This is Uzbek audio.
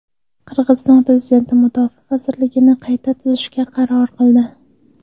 Qirg‘iziston prezidenti Mudofaa vazirligini qayta tuzishga qaror qildi.